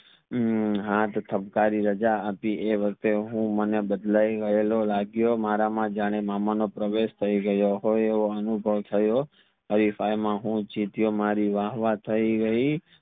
હમ હત ઠપકારી રાજા હતી એ વખતે હું હું મને બદલવી લવાલો લગિયો મારામાં માં જાણે મામા નો પ્રવેશ થઈ ગયો હોય આવો અનુભવ થયો હરિફાય માં જીત્યો મારી વાહ વાહ થઈ ગઈ